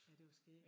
Ej det var skægt